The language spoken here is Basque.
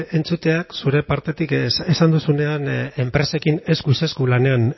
entzuteak zure partetik esan duzunean enpresekin eskuz esku lanean